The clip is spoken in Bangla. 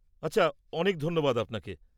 আচ্ছা, অনেক ধন্যবাদ আপনাকে।